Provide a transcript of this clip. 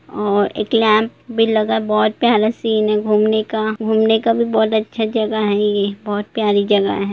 अअ एक लैम्प भी लगा बहुत प्यारा सीन है घूमने का घूमने का भी बहुत अच्छा जगह है ये बहुत प्यारी जगह है ।